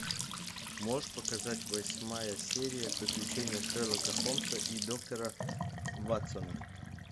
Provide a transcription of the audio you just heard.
можешь показать восьмая серия приключения шерлока холмса и доктора ватсона